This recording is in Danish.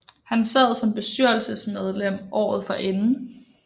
Han sad som bestyrelsemedlem året forinden